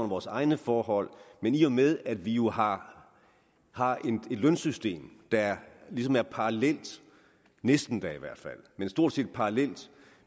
vores egne forhold men i og med at vi jo har et lønsystem der ligesom er parallelt næsten da i hvert fald det stort set parallelt